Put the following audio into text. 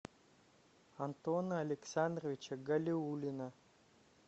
антона александровича галиуллина